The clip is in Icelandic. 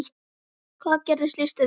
Hvað gerir list að list?